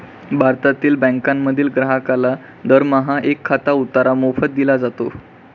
भारतातील बँकांमधील ग्राहकाला दरमहा एक खाते उतारा मोफत दिला जातो.